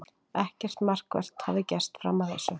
Ekkert markvert hafði gerst fram að þessu.